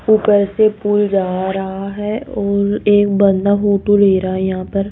ऊपर से पुल जा रहा है और एक बंदा फोटो ले रहा है यहां पर।